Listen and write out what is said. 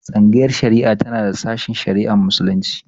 Tsangayar shari'a tana da sashen shari'ar Muslunci.